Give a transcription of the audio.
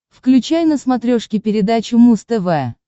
включай на смотрешке передачу муз тв